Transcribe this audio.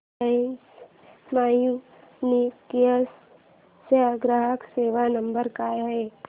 Reliance Communications चा ग्राहक सेवा नंबर काय आहे